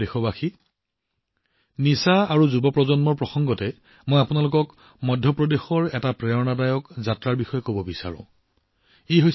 মোৰ প্ৰিয় দেশবাসী ড্ৰাগছ আৰু যুৱ প্ৰজন্মৰ কথা কওঁতে মধ্যপ্ৰদেশৰ পৰা অহা এক প্ৰেৰণাদায়ক যাত্ৰাৰ কথাও আপোনালোকক জনাব বিচাৰিছো